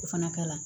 O fana ka la